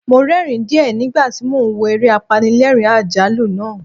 Mo rẹ́ẹ̀rín díẹ̀ nígbà tí mo ń wo eré apanilẹ́ẹ̀rín-àjálù náà.